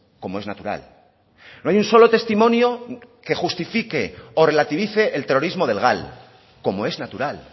como es natural no hay un solo testimonio que justifique o relativice el terrorismo del gal como es natural